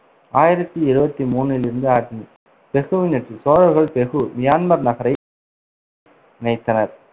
ஆயிரத்தி இருவத்தி மூணிலிருந்து பெகுவின் வெற்றிசோழர்கள் பெகு மியான்மர் நகரை இணைத்தனர்